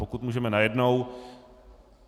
Pokud můžeme najednou?